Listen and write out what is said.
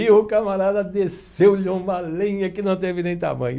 E o camarada desceu e uma lenha que não teve nem tamanho.